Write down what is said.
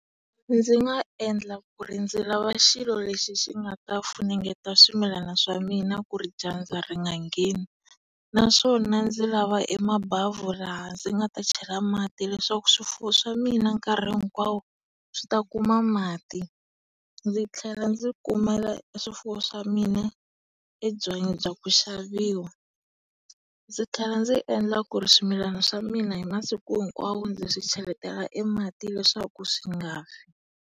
Ndzi nga endla ku ri ndzi lava xilo lexi xi ngata funengeta swimilani swa mina ku ri dyandza ri nga ngheni. Naswona ndzi lava e mabhavhu laha ndzi nga ta chela mati leswaku swifuwo swa mina nkarhi hinkwawo swi ta kuma mati. Ndzi tlhela ndzi kumela e swifuwo swa mina e byanyi bya ku xaviwa. Ndzi tlhela ndzi endla ku ri swimilana swa mina hi masiku hinkwawo ndzi swi cheletela e mati leswaku swi nga fi.